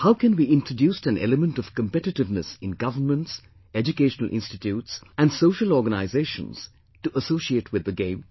How can we introduce an element of competitiveness in governments, educational institutes and social organisations to associate with the game